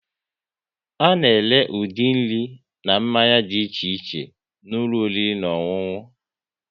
A na ere ụdị nri na mmanya dị iche iche n'ụlọ oriri na ọṅụṅụ